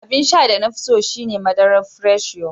Abin sha da na fi so shi ne madarar Fresh Yo.